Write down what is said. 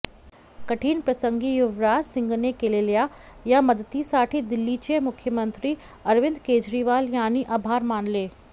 कठीण प्रसंगी युवराज सिंगने केलेल्या या मदतीसाठी दिल्लीचे मुख्यमंत्री अरविंद केजरीवाल यांनी आभार मानले